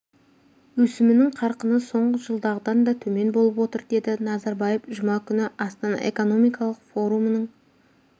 өсімінің қарқыны соңғы жылдағыдан да төмен болып отыр деді назарбаев жұма күні астана экономикалық форумының